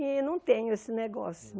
E não tenho esse negócio.